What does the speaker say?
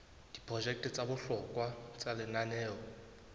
diprojeke tsa bohlokwa tsa lenaneo